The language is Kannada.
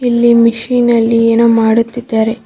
ಇಲ್ಲಿ ಮಿಷಿನ ಲ್ಲಿ ಏನೋ ಮಾಡುತ್ತಿದ್ದಾರೆ.